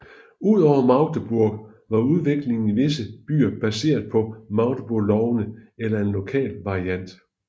Ud over Magdeburg var udviklingen i vigtige byer baseret på Magdeburglovene eller en lokal variant